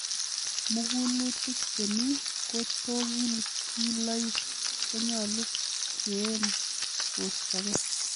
Mugulutik chemi tokilkiloik konyolu keeny kostokei.